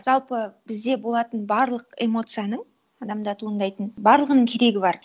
жалпы бізде болатын барлық эмоцияның адамда туындайтын барлығының керегі бар